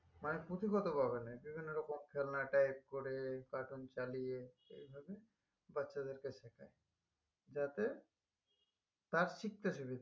মানে এটা যেন এরকম খেলনা দেই cartoon চালিয়ে এইভাবে বাচ্চাদেরকে শেখাই যাতে তার শিখতে সুবিধে হয়